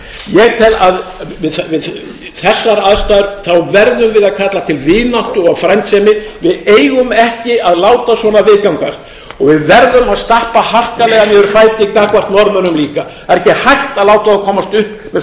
ég tel að við þessar aðstæður verðum við að kalla til vináttu og frændsemi við eigum ekki að láta svona viðgangast og við verðum að stappa harkalega niður fæti gagnvart norðmönnum líka það er ekki hægt að